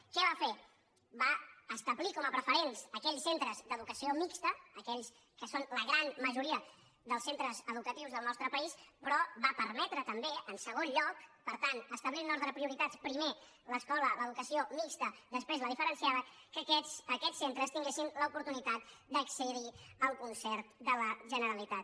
què va fer va establir com a preferents aquells centres d’educació mixta aquells que són la gran majoria dels centres educatius del nostre país però va permetre també en segon lloc per tant establint un ordre de prioritats primer l’escola l’educació mixta després la diferenciada que aquests centres tinguessin l’oportunitat d’accedir al concert de la generalitat